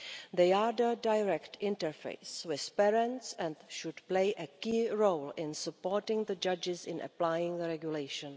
They are the direct interface with parents and should play a key role in supporting the judges in applying the regulation.